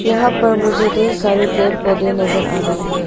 यहां पर मुझे ढेर सारे पेड़ पौधे नजर आ रही है।